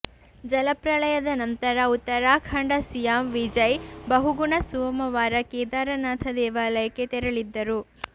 ಜಲಪ್ರಳಯದ ನಂತರ ಉತ್ತರಾಖಂಡ ಸಿಎಂ ವಿಜಯ್ ಬಹುಗುಣ ಸೋಮವಾರ ಕೇದಾರನಾಥ ದೇವಾಲಯಕ್ಕೆ ತೆರಳಿದ್ದರು